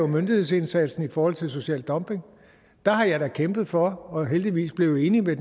myndighedsindsatsen i forhold til social dumping der har jeg da kæmpet for og er heldigvis blevet enig med